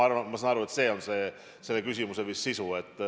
Ma saan aru, et see on teie küsimuse sisu.